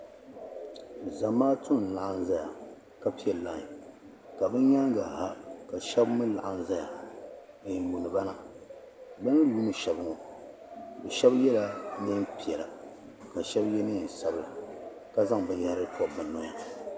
Zamaatu n laɣim zaya ka piɛ laayi ka bi nyaanga ha ka shɛba mi laɣim zaya n yuuni ba na bi ni yuuni shɛba bi shɛba yɛla niɛn piɛla ka shɛba yɛ niɛn sabila ka zaŋ bin yahiri pɔbi bi nɔya.